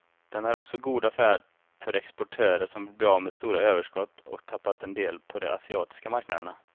Den är också god affär för exportörer som vill bli av med stora överskott och tappat en del på de asiatiska marknaderna.